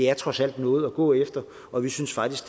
er trods alt noget at gå efter og vi synes faktisk